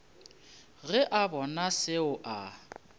ge a bona seo a